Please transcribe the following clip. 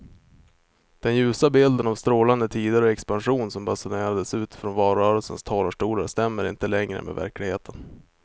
Den ljusa bilden av strålande tider och expansion som basunerades ut från valrörelsens talarstolar stämmer inte längre med verkligheten.